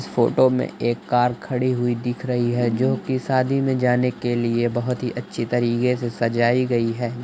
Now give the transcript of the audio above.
इस फोटो में कार खड़ी हुई दिख रही है जो कि सादी में जाने के लिए बोहोत ही अच्छी तरीके से सजाई गई है।